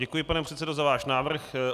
Děkuji, pane předsedo za váš návrh.